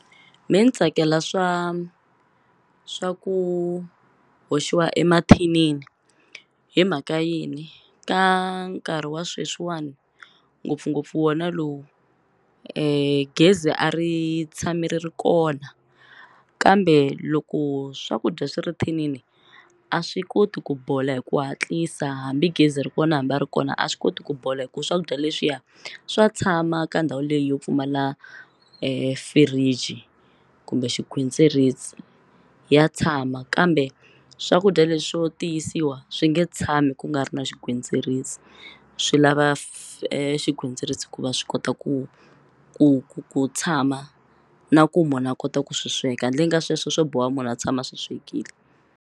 Me ni tsakela swa swa ku hoxiwa emathinini himhaka yini ka nkarhi wa sweswiwani ngopfungopfu wona lowu gezi a ri tshami ri ri kona kambe loko swakudya swi ri thinini a swi koti ku bola hi ku hatlisa hambi gezi ri kona hambi a ri kona a swi koti ku bola hi ku swakudya leswiya swa tshama ka ndhawu leyi yo pfumala fridge kumbe xigwitsirisi ya tshama kambe swakudya leswo tiyisiwa swi nge tshami ku nga ri na xigwitsirisi swi lava xigwitsirisi ku va swi kota ku ku ku tshama na ku munhu a kota ku swi sweka handleni ka sweswo swo boha munhu a tshama swi swekile.